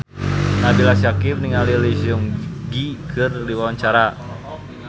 Nabila Syakieb olohok ningali Lee Seung Gi keur diwawancara